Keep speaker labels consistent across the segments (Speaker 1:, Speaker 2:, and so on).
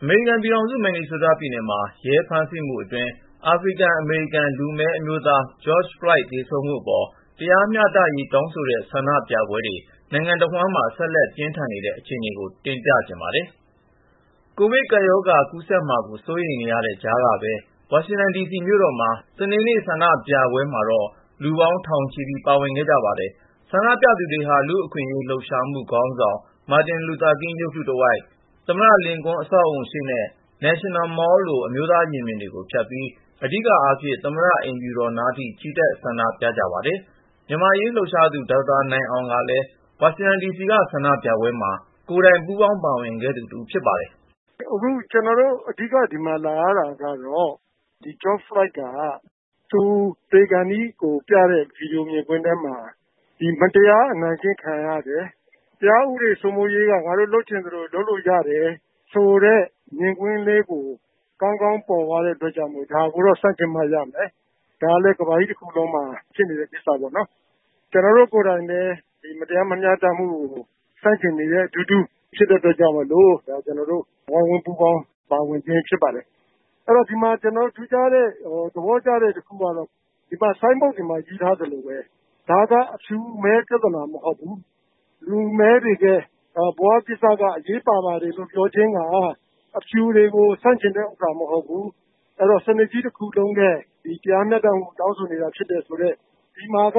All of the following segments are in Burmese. Speaker 1: အမေရိကန်ပြည်ထောင်စု မင်နီဆိုးတားပြည်နယ်မှာ ရဲဖမ်းဆီးမှုအတွင်း အာဖရိကန်-အမေရိကန် လူမည်းအမျိုးသား George Floyd သေဆုံးရမှုအပေါ် တရားမျှတရေး တောင်းဆိုတဲ့ ဆန္ဒပြပွဲတွေ နိုင်ငံတဝန်းမှာ ဆက်လက် ပြင်းထန်နေပါတယ်။ အပြည့်အစုံကို ကိုဉာဏ်ဝင်းအောင်က စုစည်း တင်ပြထားပါတယ်။ ကိုဗစ်ကပ်ရောဂါ ကူးစက်မှာကို စိုးရိမ်နေတဲ့ကြားကပဲ ဝါရှင်တန်ဒီစီ မြို့တော်အတွင်း စနေနေ့က ဆန္ဒပြပွဲမှာ လူပေါင်းထောင်ချီ ပါဝင်ခဲ့ကြပါတယ်။ ဆန္ဒပြသူတွေဟာ လူ့အခွင့်အရေးလှုပ်ရှားမှု ခေါင်းဆောင် မာတင်လူသာကင်း ရုပ်တုတဝိုက်၊ သမ္မတလင်ကွန်း အဆောက်အဦရှေ့နဲ့ National Mall လို အမျိုးသားရင်ပြင်တွေကို ဖြတ်ပြီး အဓိကအားဖြင့် သမ္မတအိမ်ဖြူတော်နားထိ ချီတက် ဆန္ဒပြကြပါတယ်။ မြန်မာ့အရေးလှုပ်ရှားသူ ဒေါက်တာနိုင်အောင်ကလည်း ဝါရှင်တန်ဒီစီက ဒီဆန္ဒပြပွဲမှာ ကိုယ်တိုင် ပူးပေါင်းပါဝင်ခဲ့သူတဦး ဖြစ်ပါတယ်
Speaker 2: ။ "ကျနော်တို့ အခု ဒီမှာလာရတာကတော့ George Floyd က သူသေခါနီးပြတဲ့ ဗွီဒီယိုမြင်ကွင်းထဲမှာ မတရား အနိုင်ကျင့်ခံရတယ်။ တရားဥပဒေ စိုးမိုးရေးဟာ ငါတို့လုပ်ချင်သလို လုပ်လို့ရတယ်ဆိုတဲ့ မြင်ကွင်းကို ပေါ်လွင်စေတဲ့အတွက် ဒါကိုတော့ ဆန့်ကျင်မှရမယ်၊ ဒါကလည်း ကမ္ဘာကြီးတခုလုံးမှာ ဖြစ်နေတဲ့ ကိစ္စပေါ့နော်။ ကျနော်တို့ကိုယ်တိုင်လည်း မတရား မမျှတမှုကို ဆန့်ကျင်နေတဲ့အတူတူ ဖြစ်တဲ့အတွက်ကြောင့်မို့လို့ ဒါကို လာရောက် ပူးပေါင်းပါဝင်ခြင်း ဖြစ်ပါတယ်။ “အဲဒီတော့ ဒီမှာ ထူးခြားပြီး သဘောကျတာ တခုကတော့ ဒီမှာ ဆိုင်းဘုတ်တွေမှာ ရေးထားသလိုပဲ ဒါက အဖြူအမည်း ပြဿနာ မဟုတ်ဘူး၊ လူမည်းတွေရဲ့ ဘဝကိစ္စက အရေးပါပါတယ်လို့ ပြောခြင်းဟာ အဖြူတွေကို ဆန့်ကျင်တာ မဟုတ်ဘူး။ စနစ်ကြီးတခုလုံးရဲ့ တရားမျှတမှုအတွက် တောင်းဆိုနေတာ ဖြစ်တယ်။ ဒီမှာက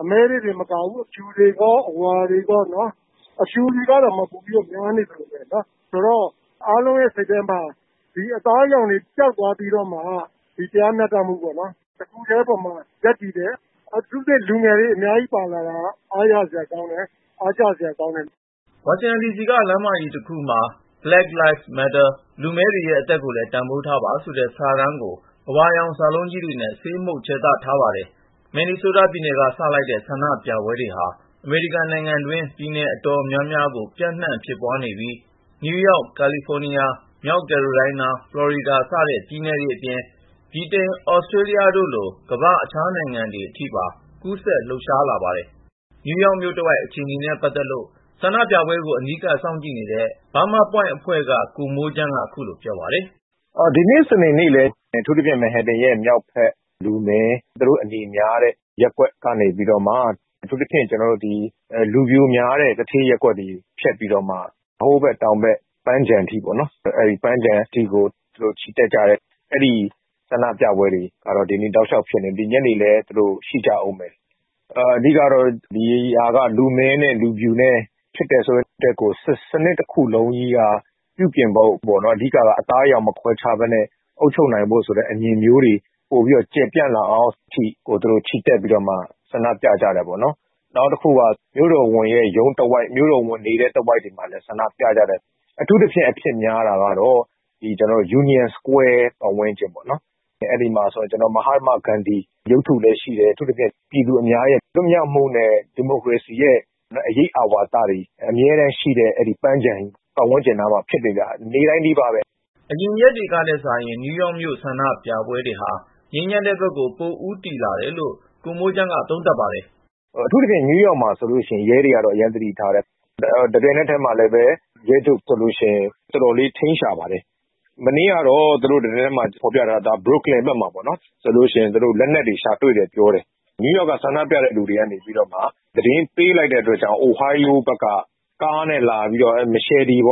Speaker 2: အမည်းတွေတင်မကဘူး လူဖြူတွေရော လူဝါတွေရော ပါတယ်။ အဖြူတွေကတောင် ပိုများနေသလိုပဲပေါ့နော်။ ဆိုတော့ အားလုံးရဲ့စိတ်ထဲမှာ ဒီအသားအရောင်တွေ ပျောက်သွားပြီးတော့မှ ဒီတရားမျှတမှု တခုတည်းပေါ်မှာ ရပ်တည်ကြတယ်။ အထူးသဖြင့် လူငယ်တွေ အများကြီးပါလာတာက အားရစရာကောင်းတယ်၊ အားကျစရာလည်း ကောင်းပါတယ်။
Speaker 1: " ဝါရှင်တန်ဒီစီက လမ်းမကြီးတခုပေါ်မှာ Black Lives Matter "လူမည်းတွေရဲ့ အသက်ကိုလည်း တန်ဖိုးထားပါ" ဆိုတဲ့ စာတန်းကို အဝါရောင်စာလုံးကြီးတွေနဲ့ ဆေးမှုတ် ခြယ်သထားပါတယ်။ မင်နီဆိုးတားပြည်နယ်က စလိုက်တဲ့ ဆန္ဒပြပွဲတွေဟာ အမေရိကန်နိုင်ငံတွင်း ပြည်နယ်အတော်များများကို ပျံ့နှံ့ဖြစ်ပွားနေပြီး နယူးယောက်၊ ကယ်လီဖိုးနီးယား၊ မြောက်ကယ်လိုရိုင်းနား၊ ဖလော်ရီဒါ စတဲ့ ပြည်နယ်တွေအပြင် ဗြိတိန်၊ သြစတြေးလျတို့လို ကမ္ဘာ့ တခြားနိုင်ငံတွေအထိပါ ကူးစက် လှုပ်ရှားလာကြပါတယ်။ နယူးယောက်မြို့တဝိုက် အခြေအနေနဲ့ ပတ်သက်လို့ ဆန္ဒပြပွဲတွေကို အနီးကပ် စောင့်ကြည့်နေတဲ့ Burma Point အဖွဲ့က ကိုမိုးချမ်းက ခုလိုပြောပါတယ်
Speaker 3: ။ "ဒီနေ့ စနေနေ့မှာလည်း အထူးသဖြင့် Manhattan ရဲ့ မြောက်ဘက် လူမည်းတွေ အနေများတဲ့ ရပ်ကွက်ကနေပြီးတော့မှ အထူးသဖြင့် လူဖြူများတဲ့ သူဌေးရပ်ကွက်တွေကို ဖြတ်ပြီးတော့ နယူးယောက်တောင်ဘက် ပန်းခြံထိကို ချီတက်ကြတယ်။ အဲဒီလို ဆန္ဒပြပွဲတွေကတော့ ဒီနေ့ တောက်လျှောက်ဖြစ်နေတယ်။ ဒီညနေမှာလည်း ရှိကြဦးမယ်။ အဓိကကတော့ ဒီဟာက လူမည်းနဲ့လူဖြူ ဖြစ်နေတယ် ဆိုတာထက်ကို စနစ်ကြီးတခုလုံးကို ပြုပြင်ဖို့ပေါ့နော်။ အဓိကအားဖြင့် အသားအရောင် မခွဲခြားဘဲနဲ့ အုပ်ချုပ်နိုင်ဖို့ဆိုတဲ့ အမြင်မျိုးတွေ ပိုကျယ်ပြန့်လာအောင်အထိ အတွက်ကို သူတို့ ချီတက် ဆန္ဒပြကြတယ်ပေါ့နော်။ နောက်တခုက မြို့တော်ဝန်ရုံးတဝိုက် မြို့တော်ဝန်နေတဲ့ တဝိုက်မှာလည်း ဆန္ဒပြကြတယ်။ အထူးသဖြင့် ဆန္ဒပြပွဲ အဖြစ်များတာက Union Square ဝန်းကျင်မှာပေါ့နော်။ အဲဒီမှာဆိုရင် မဟတ္တမဂန္ဓီ ရုပ်တုလည်း ရှိတယ်။ အထူးသဖြင့် ပြည်သူအများ လွတ်မြောက်မှုနဲ့ ဒီမိုကရေစီရဲ့ အရိပ်အာဝါသတွေ အမြဲတမ်းရှိတဲ့ အဲဒီပန်းခြံကြီး ပတ်ဝန်းကျင်မှာဖြစ်နေတာ နေ့တိုင်းနီးပါးပဲ
Speaker 1: ။" အရင်ရက်တွေကထက်စာရင် နယူးယောက်မြို့ ဆန္ဒပြပွဲတွေဟာ ငြိမ်းချမ်းတဲ့ဘက်ကို ပိုဦးတည်လာတယ်လို့ ကိုမိုးချမ်းက သုံးသပ်ပါတယ်
Speaker 3: ။ "အထူးသဖြင့် နယူးယောက်မှာဆိုရင် ရဲတွေက အရမ်းသတိထားပါတယ်။ တပြိုင်နက်တည်းမှာပဲ နယူးယောက်ရဲချုပ်ဆိုရင် အတော်လေး ထိန်းရှာပါတယ်။ မနေ့ကတော့ သတင်းမှာဖော်ပြတာက အဲဒါကတော့ Brooklyn ဘက်မှာပေါ့နော်၊ အဲဒီမှာ သူတို့ လက်နက်တွေရှာတွေ့တယ် ပြောတယ်။ အိုဟိုင်းယိုးပြည်နယ်ဘက်က လာတဲ့ ကားတစီးမှာ ဓားမကြီးတွေ ၃ ချောင်းလောက်ပါတယ်၊ ဓာတ်ဆီထည့်ထားတဲ့ ပုံးတွေပါတယ်၊ နောက်ပြီး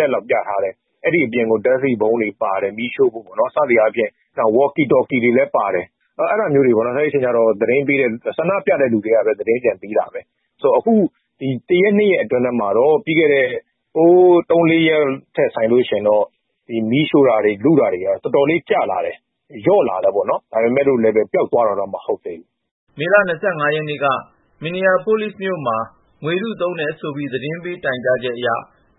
Speaker 3: ဝေါ့ကီတော်ကီတွေလည်း ပါတယ်။ နယူးယောက်က ဆန္ဒပြသူတွေကပဲ သတင်းပြန်ပေးတာပါ။ ဆိုတော့ ဟိုးအရင် သုံးလေးရက်ထက်စာရင် အခု ဒီတရက်နှစ်ရက် အတွင်းမှာတော့ မီးရှို့တာတွေ၊ လုတာတွေ တော်တော်လေး ကျလာတယ်၊ လျော့လာတယ်ပေါ့နော်။ ဒါပေမယ့်လည်း ပျောက်သွားတယ်တော့ မဟုတ်သေးဘူး
Speaker 1: ။" မေလ ၂၅ ရက်နေ့က Minneapolis မြို့မှာ ငွေတုသုံးတယ်ဆိုပြီး သတင်းပေး တိုင်ကြားချက်အရ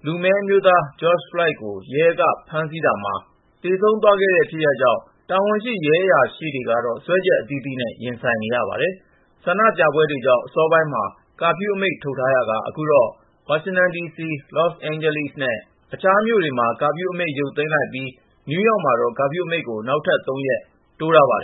Speaker 1: လူမည်းအမျိုးသား George Floyd ကို ရဲက ဖမ်းဆီးတာမှာ သေဆုံးသွားခဲ့တဲ့ ဖြစ်ရပ်အတွင်း တာဝန်ရှိတဲ့ ရဲအရာရှိတွေကတော့ စွဲချက်အသီးသီးနဲ့ ရင်ဆိုင်နေရပါတယ်။ ဆန္ဒပြပွဲတွေကြောင့် အစောပိုင်းမှာ ကာဖျူးအမိန့် ထုတ်ထားခဲ့ရာက အခုတော့ ဝါရှင်တန်ဒီစီ၊ လော့စ်အိန်ဂျလိစ်နဲ့ အခြားမြို့တွေမှာ ကာဖျူးအမိန့် ပြန်ရုပ်သိမ်းလိုက်ပြီး နယူးယောက်မှာတော့ ကာဖျူးအမိန့်ကို နောက်ထပ် ၃ ရက် တိုးထားပါတယ်